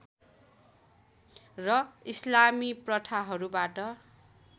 र इस्लामी प्रथाहरूबाट